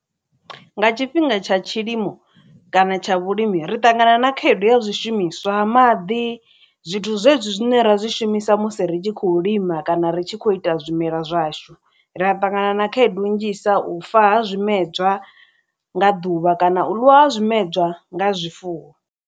Nga tshifhinga tsha tshilimo kana tsha vhulimi ri ṱangana na khaedu ya zwishumiswa maḓi zwithu zwezwi zwine ra zwi shumisa musi ri tshi khou lima kana ri tshi khou ita zwimela zwashu ri a ṱangana na khaedu nnzhisa u fa ha zwimedzwa nga ḓuvha kana u ḽiwa ha zwimedzwa nga zwifuwo.